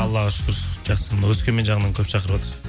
аллаға шүкір жақсы мына өскемен жағынан көп шақырыватыр